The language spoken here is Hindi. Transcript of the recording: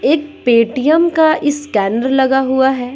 एक पेटीएम का स्कैनर लगा हुआ है।